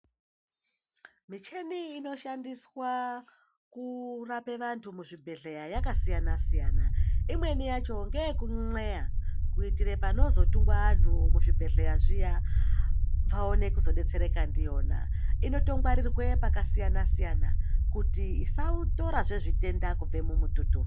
Micheni ino shandiswa kurape vantu mu zvibhedhleya yaka siyana siyana imweni yacho ngeyeku ndxeya kuitire panozo tungwa anhu mu zvibhedhleya zviya vaone kuzo detsereka ndiyona inoto ngwarirwe paka siyana siyana kuti isa torazve zvitenda kubve mu mututu.